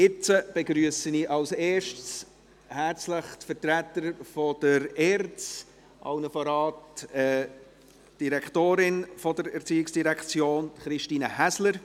Jetzt begrüsse ich zuerst herzlich die Vertreter der ERZ, allen voran die Direktorin der ERZ, Christine Häsler.